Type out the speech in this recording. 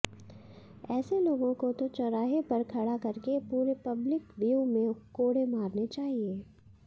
ऐसे लोगों को तो चौराहे पर खड़ा करके पूरे पब्लिक व्यू में कोडे़ मारने चाहिए